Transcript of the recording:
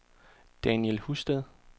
Daniel Husted